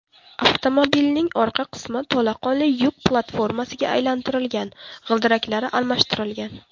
Avtomobilning orqa qismi to‘laqonli yuk platformasiga aylantirilgan, g‘ildiraklari almashtirilgan.